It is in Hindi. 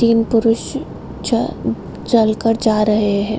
तीन पुरूष च चल कर जा रहे है |